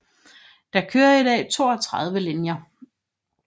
Der kører i dag 32 linjer